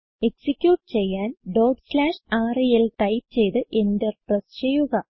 execute ചെയ്യാൻ rel type ചെയ്ത് enter press ചെയ്യുക